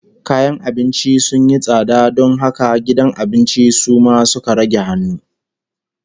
Kayan abinci sun yi tsada don haka gidan abincin su ma suka rage hannu